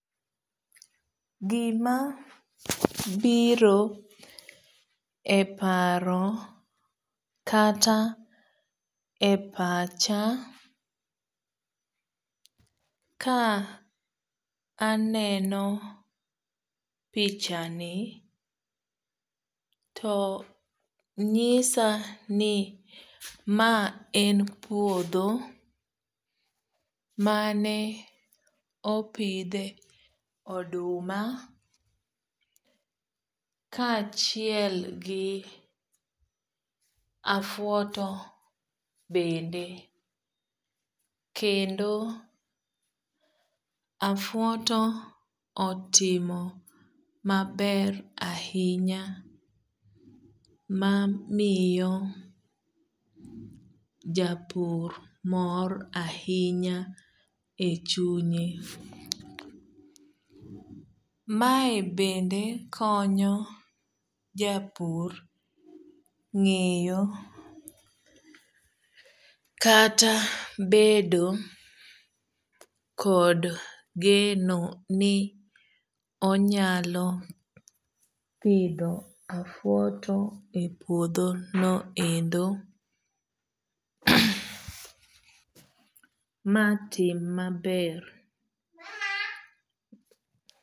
Gimabiro e paro kata e pacha kaneno pihani to nyisa ni maen puodho mane opidhe oduma kaachiel gi afwoto bende kendo afwoto otimo maber ahinya mamiyo japur mor ahinya e chunye. mae bende konyo japur ngeyo kata bedo kod geno ni onyalo pidho afwoto e puodho no endo matim maber